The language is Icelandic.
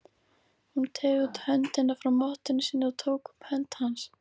Hún teygði út höndina frá mottunni sinni og tók um hönd hans.